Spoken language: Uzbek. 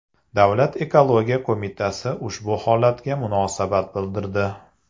Davlat ekologiya qo‘mitasi ushbu holatga munosabat bildirdi .